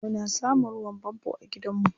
Muna samun ruwan fanfo a gidanmu.